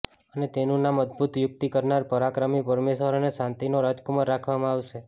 અને તેનુ નામ અદભુત યુક્તિ કરનાર પરાક્રમી પરમેશ્ચર અને શાંતિનો રાજકુમાર રાખવામાં આવશે